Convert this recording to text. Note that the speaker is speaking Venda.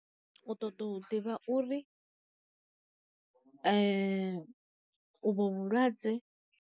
U ṱoḓa u ḓivha uri u vho vhulwadze.